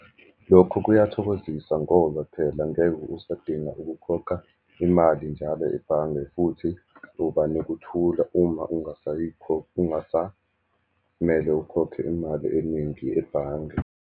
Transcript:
Lokhu kuyathokozisa ngoba phela ngeke usadinga ukukhokha imali njalo ebhange, futhi uba nekuthula uma ungasamele ukhokhe imali eningi ebhange.